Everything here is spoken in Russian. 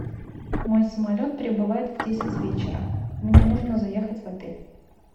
мой самолет прибывает в десять вечера мне нужно заехать в отель